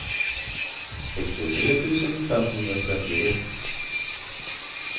sextiotre tusen femhundratrettioett